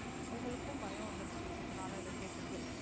அவங்களுக்கும் பயம் வந்துருச்சு இதுனால இத கேட்டுட்டு.